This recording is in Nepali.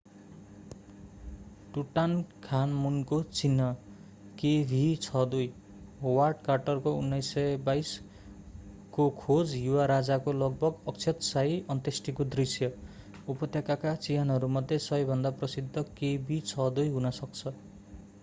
टुटान्खामुनको चिहान kv62। होवार्ड कार्टरको 1922 खो खोज युवा राजाको लगभग अक्षत शाही अन्त्येष्टिको दृष्य उपत्यकाका चिहानहरूमध्ये सबैभन्दा प्रसिद्ध kv62 हुन सक्छ।